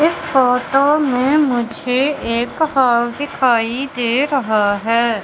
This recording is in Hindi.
इस फोटो में मुझे एक हॉल दिखाई दे रहा है।